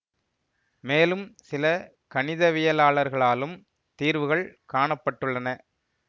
மேலும் சில கணிதவியலாளர்களாலும் தீர்வுகள் காண பட்டுள்ளன